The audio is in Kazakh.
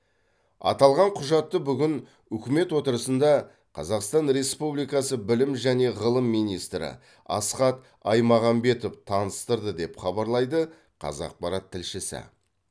аталған құжатты бүгін үкімет отырысында қазақстан республикасы білім және ғылым министрі асхат аймағамбетов таныстырды деп хабарлайды қазақпарат тілшісі